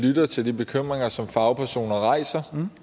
lytter til de bekymringer som fagpersoner rejser